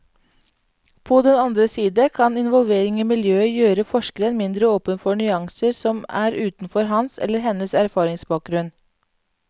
På den andre side kan involvering i miljøet gjøre forskeren mindre åpen for nyanser som er utenfor hans eller hennes erfaringsbakgrunn.